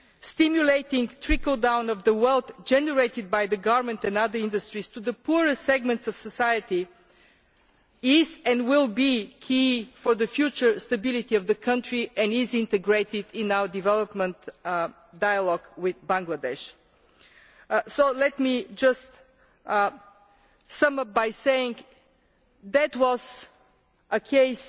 Stimulating trickle down of the wealth generated by the garment and other industries to the poorest segments of society is, and will be, key for the future stability of the country and is integrated in our development dialogue with Bangladesh. Let me just sum up by saying that this was a